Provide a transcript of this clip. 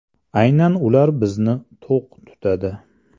Aynan ular bizni to‘q tutadi.